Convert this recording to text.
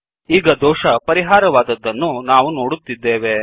ಈಗ ದೋಷ ಪರಿಹಾರವಾದದ್ದನ್ನು ನಾವು ನೋಡುತ್ತಿದ್ದೇವೆ